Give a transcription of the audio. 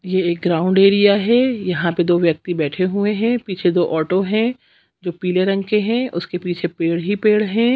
ये एक ground area है यहाँ पर दो व्यक्ति बैठे हुए है पीछे दो ऑटो है जो पीले रंग के है उसके पीछे पेड़ ही पेड़ हैं।